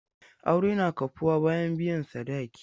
Aure na kafuwa bayan biyan sadaki.